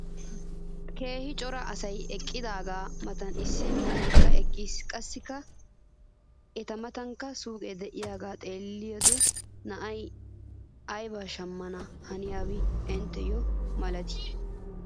keehi cora asay eqqidaagaa matan issi bitaneekka eqqiis. qassi eta matankka suuqee de'iyaagaa xeelliya na"ay aybaa shamana haniyaaba intteyo malatii?